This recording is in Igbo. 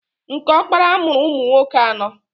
Nke ọkpara mụrụ ụmụnwoke anọọ.